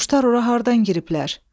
Quşlar ora hardan giriblər?